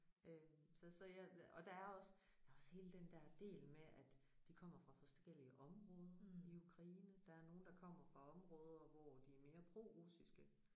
Øh så så jeg og der er også der er også hele den der del med at de kommer fra forskellige områder i Ukraine der er nogen der kommer fra områder hvor de mere prorussiske